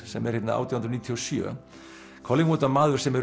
sem er hérna átján hundruð níutíu og sjö collingwood var maður sem